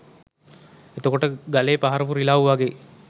එතකොට ගලේ පහරපු රිලව් වගේ